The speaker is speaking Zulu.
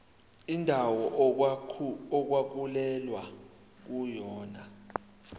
indawo okwakulwelwa kuyona